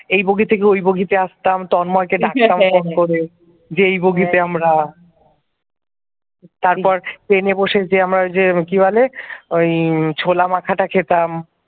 এই বগি থেকে ওই বগিতে আসতাম তন্ময়কে ডাকতাম ফোন করে যে এই বগিতে আমরা তারপর ট্রেনে বসে যে আমরা যে কি বলে ওই ছোলা মাখা টা খেতাম।